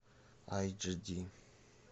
айч ди